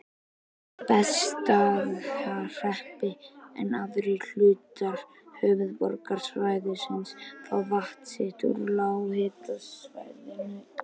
Bessastaðahreppi, en aðrir hlutar höfuðborgarsvæðisins fá vatn sitt úr lághitasvæðum í